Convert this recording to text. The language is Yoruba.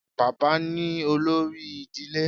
Baba ni olori idile